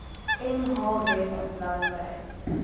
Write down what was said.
mh web bladsy